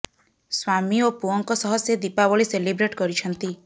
ସ୍ୱାମୀ ଓ ପୁଅଙ୍କ ସହ ସେ ଦୀପାବଳି ସେଲିବ୍ରେଟ କରିଛନ୍ତି